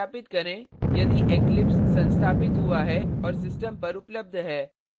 अब सत्यापित करें यदि eclipse संस्थापित हुआ है और system पर उपलब्ध है